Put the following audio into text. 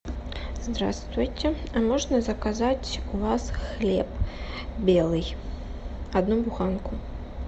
здравствуйте а можно заказать у вас хлеб белый одну буханку